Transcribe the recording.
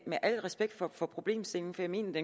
med al respekt for problemstillingen for jeg mener